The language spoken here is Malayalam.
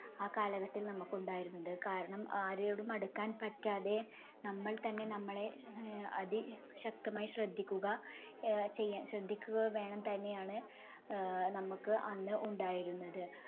ആ കാലഘട്ടത്തിൽ നമുക്ക് ഉണ്ടായിരുന്നത് കാരണം ആരോടും അടുക്കാൻ പറ്റാതെ നമ്മൾ തന്നെ നമ്മളെ ആഹ് അതിശക്തമായി ശ്രദ്ധിക്കുക ആഹ് ചെയ്യാൻ ശ്രദ്ധിക്കുക വേണം തന്നെയാണ് ആഹ് നമുക്ക് അന്ന് ഉണ്ടായിരുന്നത്.